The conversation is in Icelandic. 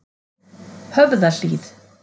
Höfðahlíð